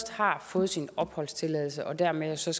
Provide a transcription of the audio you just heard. har fået sin opholdstilladelse og dermed jo så